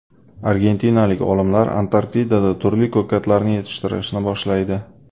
Argentinalik olimlar Antarktidada turli ko‘katlarni yetishtirishni boshlaydi.